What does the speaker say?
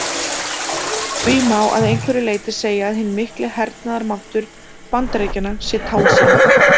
Því má að einhverju leyti segja að hinn mikli hernaðarmáttur Bandaríkjanna sé tálsýn.